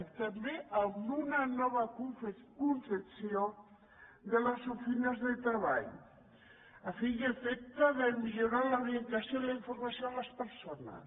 i també amb una nova concepció de les oficines de tre·ball a fi i efecte de millorar l’orientació i la informació a les persones